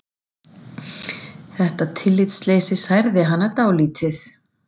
Þetta tillitsleysi særir hana dálítið.